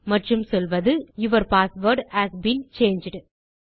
மற்றும் சொல்வது your password has been changed